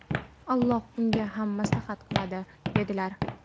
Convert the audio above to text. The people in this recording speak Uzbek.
Alloh unga ham mashaqqat qiladi", - dedilar".